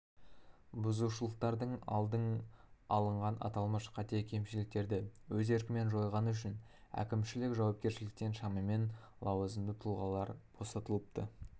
бұзушылықтардың алды алынған аталмыш қате-кемшіліктерді өз еркімен жойғаны үшін әкімшілік жауапкершіліктен шамамен лауазымды тұлғалар босатылыпты